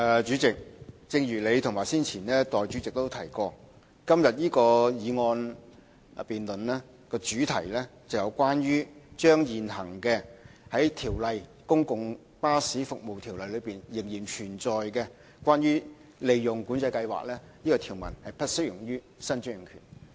主席，正如你和代理主席早前皆提及，今天這項議案辯論的主題是將現行《公共巴士服務條例》內仍然存在有關"利潤管制計劃"的條文，不適用於新專營權。